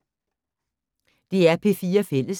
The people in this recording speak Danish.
DR P4 Fælles